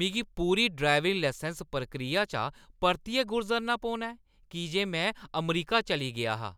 मिगी पूरी driving licence प्रक्रिया चा परतियै गुजरना पौना ऐ की जे में अमरीका चली गेआ हा।